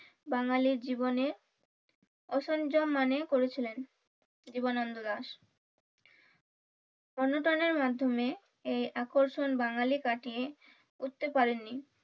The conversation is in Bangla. বাঙালির জীবনে করেছিলেন জীবনানন্দ দাশ অনুদানের মাধ্যমে এই আকর্ষণ বাঙালি কাটিয়ে উঠতে পারেননি।